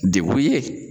Dekun ye